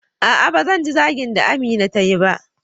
A'a ban ji zagin da Amina tayi ba.